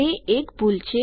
તે એક ભૂલ છે